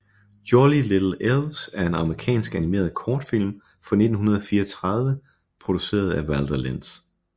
Jolly Little Elves er en amerikansk animeret kortfilm fra 1934 produceret af Walter Lantz